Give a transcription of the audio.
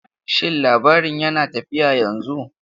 Shin labaron yana tafiya yanzu?